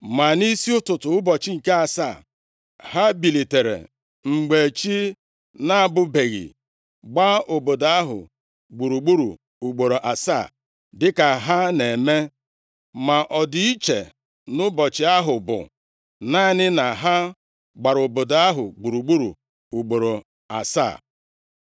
Ma nʼisi ụtụtụ ụbọchị nke asaa, ha bilitere mgbe chi na-abọbeghị, gbaa obodo ahụ gburugburu ugboro asaa dịka ha na-eme. Ma ọ dị iche nʼụbọchị ahụ, bụ naanị na ha gbara obodo ahụ gburugburu ugboro asaa.